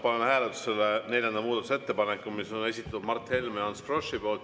Panen hääletusele neljanda muudatusettepaneku, mille on esitanud Mart Helme ja Ants Frosch.